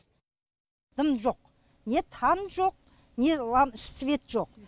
дым жоқ не там жоқ не свет жоқ